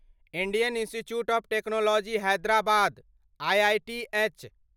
Indian institute of technology Hyderabad IITH